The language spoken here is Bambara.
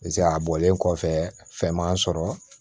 a bɔlen kɔfɛ fɛn m'a sɔrɔ